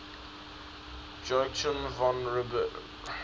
joachim von ribbentrop